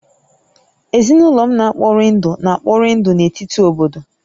Ezinụlọ m na-ekpori ndụ na-ekpori ndụ na etiti obodo